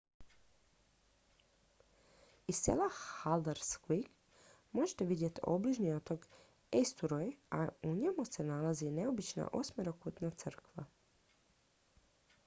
iz sela haldarsvík možete vidjeti obližnji otok eysturoy a u njemu se nalazi i neobična osmerokutna crkva